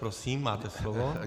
Prosím, máte slovo.